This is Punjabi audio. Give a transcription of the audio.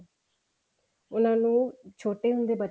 ਉਹਨਾ ਨੂੰ ਛੋਟੇ ਹੁੰਦੇ ਬਚਪਨ